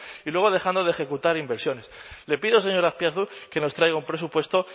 y luego dejando de ejecutar inversiones le pido señor azpiazu que nos traiga un presupuesto